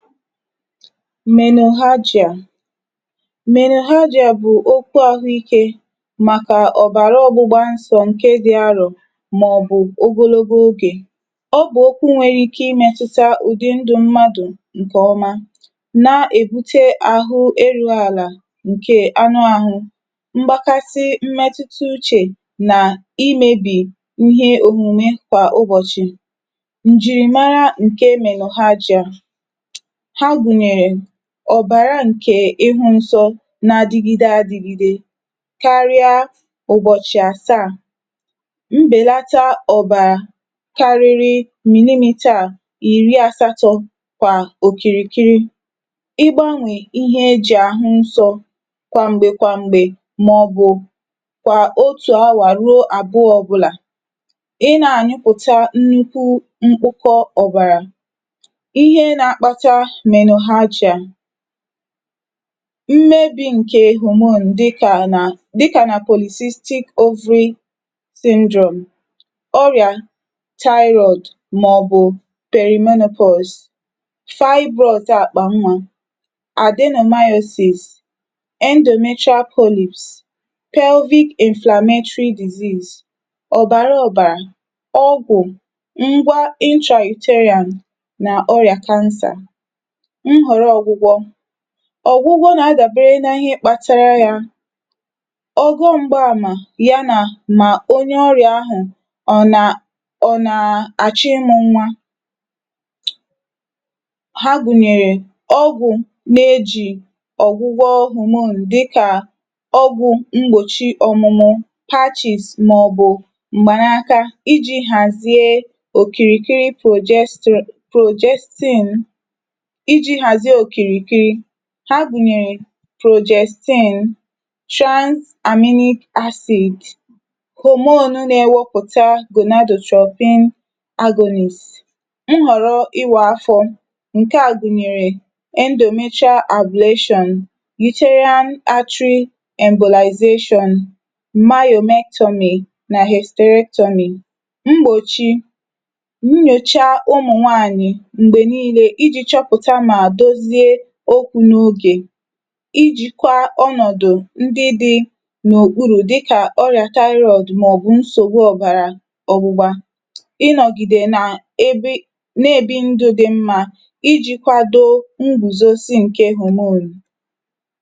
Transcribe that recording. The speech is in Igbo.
fike 134 menohagia menohagia bụ̀ okwu ahụ ikē màkà ọ̀bàra ọgbụgba nsọ̄ ǹke dị alò, mà ọ̀ bụ ogologo ogè. ọ bụ̀ okwu nwẹrẹ ike ị mẹ̄tụta udi ndụ mmadù ǹkè ọma, na èbute àrụ erū àlà ǹkè anụ ahụ, mgbakasị mmẹtụta uchè nà ị mebì ihe omume kwà ụbọ̀chị̀. ǹjìrìmara ǹke menohagia. ha gùnyèrè, ọ̀bàra ǹke ihu nsọ na adịgide adīgide karịa ụ̀bọ̀chị̀ àsaà. mbèlata ọ̀bàrà kariri millimetre ìri asatọ kwà òkìrìkiri, ị gbanwe ihe ejì àhụ nsọ kwà m̀gbè kwà m̀gbè mà ọ̀ bụ otù awà ruo awà àbụọ̄. ị na ànyụpụ̀ta nnukwu mkpọkọ ọ̀bàrà. ihe nā akpata menohagia, mmebi ǹkẹ hormone dịkà nà dịkà nà polycystic ovary syndrome, ọrị̀à thyroid, mà ọ̀ bụ̀ perimenopause, fibroid akpà nwa, adenomyosis, endometrial polyps, pelvic inflammatory disease, ọ̀bàra ọ̀bàrà, ọgwụ̀ ngwa intrauterine nà ọrị̀à cancer. nhọ̀rọ ọgwụgwọ, ọgwụgwọ nà adàbere na ịhẹ kpatara ya. ọgụ mgbe amà ya nà mà onye ọrị̀à ahụ̀ ọ nà ọ nà àchọ ịmụ̄ nwa. ha gùnyèrè, ogwụ̀ na ejì ọ̀gwụgwọ hormone, dịkà ọgwụ̄ mgbòchi ọmụmụ, patches mà ọ̀ bụ̀ m̀gbà n’aka ijī hàzie òkìrìkiri progesti.. progestine, ijī hàzie òkìrìkiri. ha gụ̀nyẹ̀rẹ̀ progestine, trans aminic acid, hormone na ẹwẹpụ̀ta gonadotrophin agolis, nhọ̀rọ ịwā afọ, ǹkẹ à gùnyèrè, endometrial ablation, uterine artery embolization, mayohectomy, nà hepisterectomy. mgbòchi, nyòcha ụmụ̀ nwanyị̀ m̀gbè nille, ijì chọpụ̀ta mà dozie okwū n’ogè, ijīkwa ọnọ̀dụ̀ ndị dị n’okpurù dịkà ọrị̀à thyroid mà ọ̀ bụ̀ nsògbu ọ̀bàrà ọgbụgba, ịnọ̀gìde nae bi nà èbi ndụ̄ dị mmā ijī kwado ngùzosi ǹkè hormone.